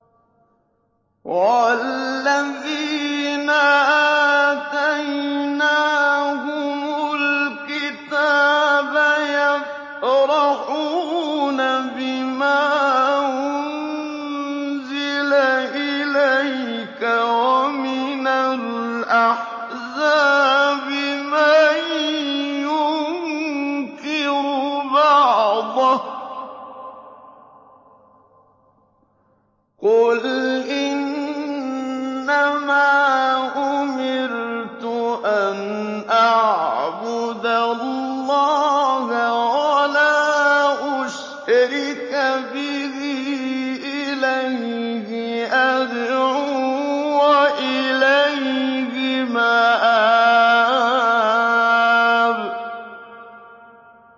وَالَّذِينَ آتَيْنَاهُمُ الْكِتَابَ يَفْرَحُونَ بِمَا أُنزِلَ إِلَيْكَ ۖ وَمِنَ الْأَحْزَابِ مَن يُنكِرُ بَعْضَهُ ۚ قُلْ إِنَّمَا أُمِرْتُ أَنْ أَعْبُدَ اللَّهَ وَلَا أُشْرِكَ بِهِ ۚ إِلَيْهِ أَدْعُو وَإِلَيْهِ مَآبِ